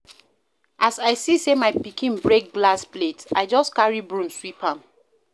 As I see sey my pikin break glass plate, I just carry broom sweep am.